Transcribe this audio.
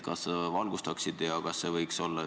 Kas sa valgustaksid olukorda?